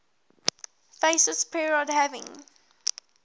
fascist period having